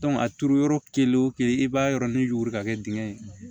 a turu yɔrɔ kelen wo kelen i b'a yɔrɔ ni yuguri ka kɛ dingɛ ye